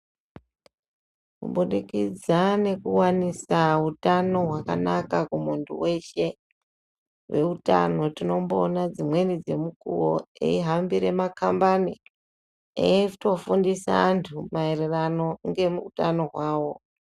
Kubudikitsa nekuwanisa hutano hwakanaka kumundu hweshe veutano tinomboona dzimweni dzemukuwo eyihambira makambani eyitofundisa andu maererano ngehutano hwavo.